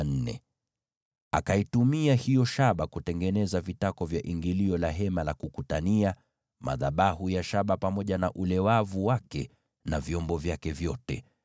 Akaitumia hiyo shaba kutengeneza vitako vya ingilio la Hema la Kukutania, madhabahu ya shaba pamoja na ule wavu wake na vyombo vyake vyote,